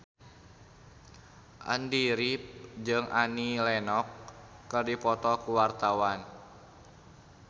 Andy rif jeung Annie Lenox keur dipoto ku wartawan